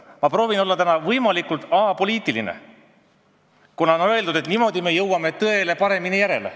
Ma proovin olla täna võimalikult apoliitiline, kuna on öeldud, et niimoodi jõuame tõele paremini jälile.